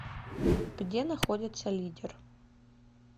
где находится лидер